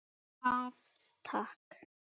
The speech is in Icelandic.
Af Takk.